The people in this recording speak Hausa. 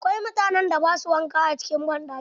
Akwai mutanen da ba su wanka a cikin banɗaki.